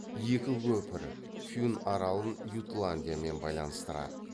екі көпір фюн аралын ютландиямен байланыстырады